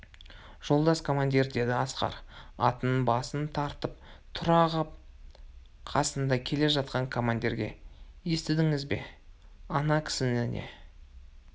жолдас командир деді асқар атының басын тартып тұра ғап қасында келе жатқан командирге естідіңіз бе ана кісінің не